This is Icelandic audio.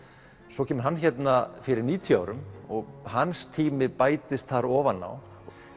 svo kemur hann hérna fyrir níutíu árum og hans tími bætist þar ofan á